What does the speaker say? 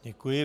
Děkuji.